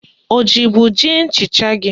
Ọ jibu ji nchịcha gị?